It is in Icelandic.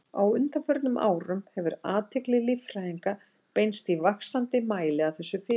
Á undanförnum árum hefur athygli líffræðinga beinst í vaxandi mæli að þessu fyrirbæri.